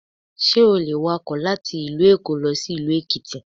Sé o le wakò láti ìlú Èkó lọ sí ìlú Èkìtì